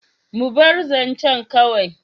Mu bar zancen kawai.